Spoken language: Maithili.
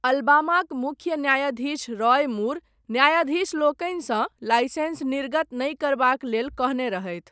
अलबामाक मुख्य न्यायाधीश रॉय मूर, न्यायाधीशलोकनिसँ, लाइसेन्स निर्गत नहि करबाक लेल कहने रहथि।